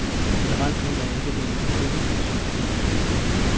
Generelt mener jeg ikke, at det er nogen heldig politik.